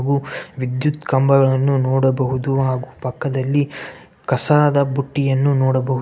ವಿದ್ಯುತ್ ಕಂಬಗಳನ್ನು ನೋಡಬಹುದು ಹಾಗು ಪಕ್ಕದಲ್ಲಿ ಕಸದ ಬುಟ್ಟಿಯನ್ನು ನೋಡಬಹುದು .